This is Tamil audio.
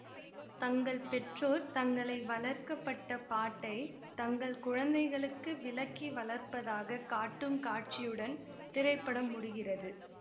தங்கள் பெற்றோர் தங்களை வளர்க்க பட்ட பாட்டை தங்கள் குழுந்தைகளுக்கு விளக்கி வளர்ப்பதாக காட்டும் காட்சியுடன் திரைப்படம் முடிகிறது